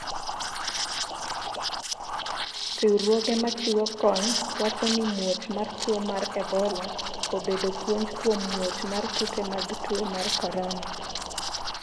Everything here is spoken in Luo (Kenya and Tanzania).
riwruoge ma chiwo kony wacho ni muoch mar tuo mar ebola obedo puonj kuom muoch mar kute mag tuo mar korona